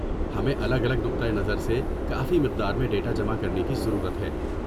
ہمیں الگ الگ نقطہ نظر سے کافی مقدار میں ڈیٹا جمع کرنے کی ضرورت ہے۔